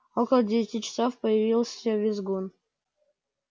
около девяти часов появился визгун